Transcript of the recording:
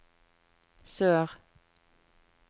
sør